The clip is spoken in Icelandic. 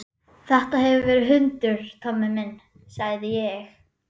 Þetta hefur verið hundur, Tommi minn, sagði ég.